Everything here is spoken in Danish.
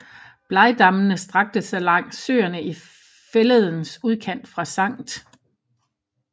Blegdammene strakte sig langs søerne i fælledens udkant fra Skt